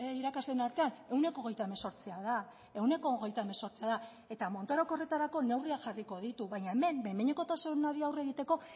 irakasleen artean ehuneko hogeita hemezortzia da ehuneko hogeita hemezortzia da eta montorok horretarako neurriak jarriko ditu baina hemen behin behinekotasunari aurre egiteko